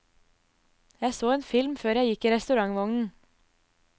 Jeg så en film før jeg gikk i restaurantvognen.